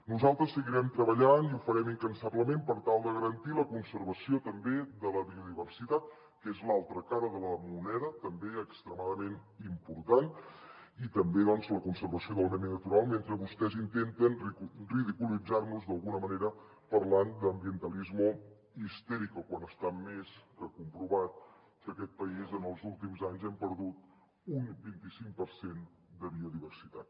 nosaltres seguirem treballant i ho farem incansablement per tal de garantir la conservació també de la biodiversitat que és l’altra cara de la moneda també extremadament important i també doncs la conservació del medi natural mentre vostès intenten ridiculitzar nos d’alguna manera parlant d’ ambientalismo histérico quan està més que comprovat que aquest país en els últims anys hem perdut un vinti cinc per cent de biodiversitat